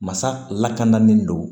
Masa lakanalen don